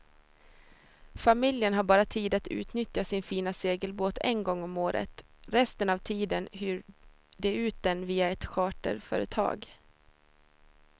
Familjen har bara tid att utnyttja sin fina segelbåt en gång om året, resten av tiden hyr de ut den via ett charterföretag.